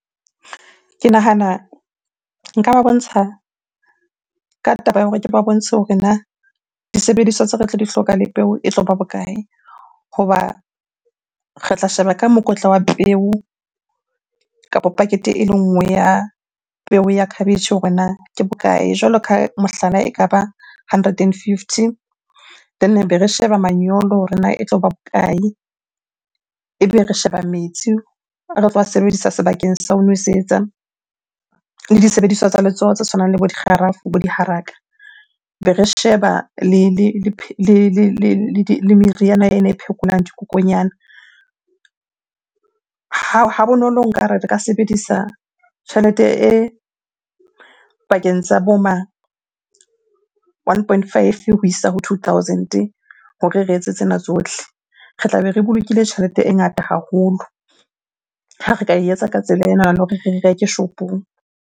Ke nahana nka ba bontsha ka taba ya hore ke ba bontshe hore na disebediswa tse ba tlo di hloka le peo e tloba bokae? Hoba re tla sheba ka mokotla wa peo kapo packet-e ele nngwe ya peo ya khabetjhe hore na ke bokae? Jwalo ka mohlala, ekaba hundred and fifty then ebe re sheba manyolo hore na e tloba bokae? Ebe re sheba metsi a re tlo a sebedisa sebakeng sa ho nwesetsa le disebediswa tsa letsoho tse tshwanang le bo dikgarafu, bo diharaka. Be re sheba le meriana ena e phekolang dikokonyana. Ha bonolo nkare re ka sebedisa tjhelete e pakeng tsa bo ma one point five ho isa ho two thousand-e hore re etse tsena tsohle. Re tlabe re bolokile tjhelete e ngata haholo ha re ka e etsa ka tsela enana hore re reke shopong.